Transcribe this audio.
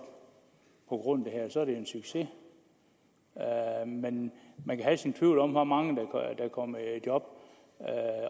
på grund af det her er det en succes men man kan have sin tvivl om hvor mange der kommer i job